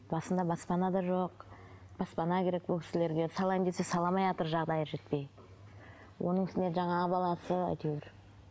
басында баспана да жоқ баспана керек бұл кісілерге салайын десе сала алмайатыр жағдайы жетпей оның үстіне жаңағы баласы әйтеуір